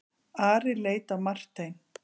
Ari leit á Martein.